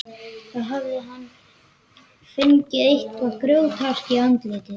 Þá hafði hann fengið eitthvað grjóthart í andlitið.